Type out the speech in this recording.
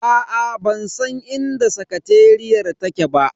Aa bansan inda sakateriyar take ba.